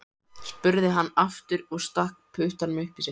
spurði hann aftur og stakk puttanum upp í sig.